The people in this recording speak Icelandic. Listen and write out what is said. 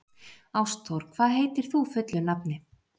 Ástþór, hvað heitir þú fullu nafni?